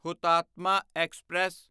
Hutatma express